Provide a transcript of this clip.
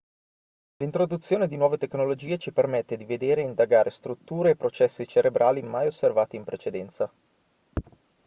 l'introduzione di nuove tecnologie ci permette di vedere e indagare strutture e processi cerebrali mai osservati in precedenza